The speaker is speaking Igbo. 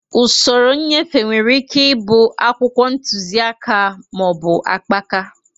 Usoro nnyefe nwere ike ịbụ akwụkwọ ntuziaka ma ọ bụ akpaka